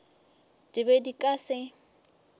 di be di ka se